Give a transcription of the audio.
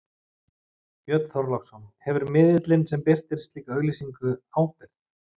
Björn Þorláksson: Hefur miðillinn sem birtir slíka auglýsingu ábyrgð?